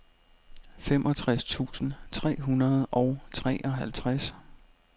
femogtres tusind tre hundrede og treoghalvtreds